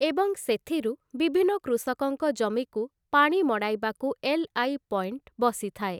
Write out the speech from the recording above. ଏବଂ ସେଥିରୁ ବିଭିନ୍ନ କୃଷକଙ୍କ ଜମିକୁ ପାଣି ମଡ଼ାଇବାକୁ ଏଲ୍‌.ଆଇ. ପଏଣ୍ଟ ବସିଥାଏ ।